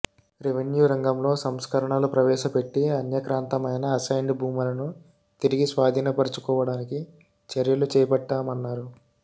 రెవిన్యూరంగంలో సంస్కరణలు ప్రవేశపెట్టి అన్యాక్రాంతమైన అసైన్డ్ భూములను తిరిగి స్వాధీనపర్చుకోవడానికి చర్యలు చేపట్టామన్నారు